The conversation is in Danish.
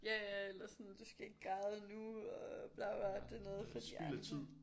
Ja ja eller sådan du skal ikke græde nu og bla bla det noget for de andre